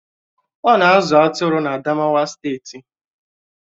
Ọ̀ na-azụ atụrụ na Adamawa steeti